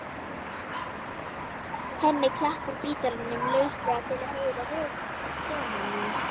Hemmi klappar gítarnum lauslega til að heyra hljómana.